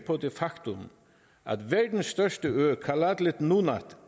på det faktum at verdens største ø kalaallit nunaat